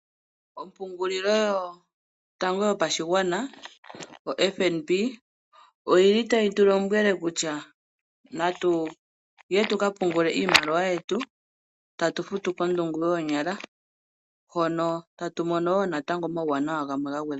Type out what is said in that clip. Ombaanga yotango yopashigwana yo FNB . Otayi tu lombwele kutya natuye tuka pungule iimaliwa yetu tatu futu kondungu yoonyala. Mono tatu mono woo natango omawuwanawa gamwe ga gwedhwa po.